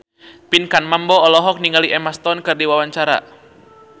Pinkan Mambo olohok ningali Emma Stone keur diwawancara